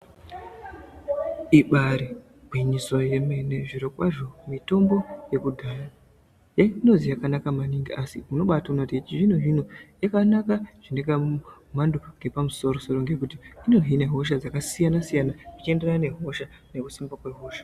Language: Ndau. Ibaari gwinyiso yemene zvirokwazvo mitombo yekudhaya yaindozi yakanaka maningi, asi unobaatoona yechizvinozvino yakanaka zvinekamhando kepamusorosoro, ngekuti inohine hosha dzakasiyana-siyana zvechienderana nehosha nekusimba kwehosha.